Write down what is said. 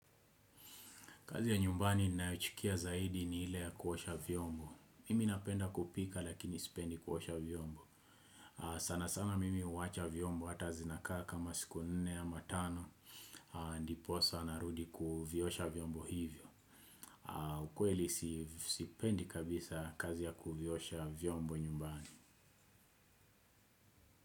Kazi ya nyumbani ninayochukia zaidi ni ile ya kuosha vyombo. Mimi napenda kupika lakini sipendi kuosha vyombo. Sana sana mimi huwacha vyombo hata zinakaa kama siku nne ama tano. Ndiposa narudi kuviosha vyombo hivyo. Ukweli sipendi kabisa kazi ya kuvyosha vyombo nyumbani.